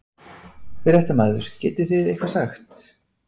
Fréttamaður: Getið þið eitthvað sagt?